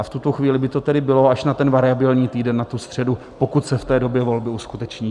A v tuto chvíli by to tedy bylo až na ten variabilní týden, na tu středu, pokud se v té době volby uskuteční.